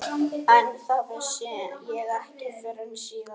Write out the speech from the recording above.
En það vissi ég ekki fyrr en síðar.